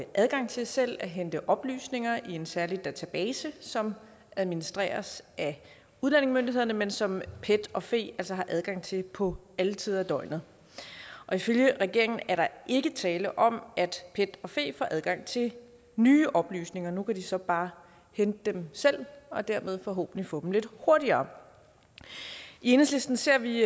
adgang til selv at hente oplysninger i en særlig database som administreres af udlændingemyndighederne men som pet og fe altså har adgang til på alle tider af døgnet ifølge regeringen er der ikke tale om at pet og fe får adgang til nye oplysninger nu kan de så bare hente dem selv og dermed forhåbentlig få dem lidt hurtigere i enhedslisten ser vi